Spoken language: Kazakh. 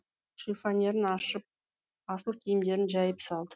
шифонерін ашып асыл киімдерін жайып салды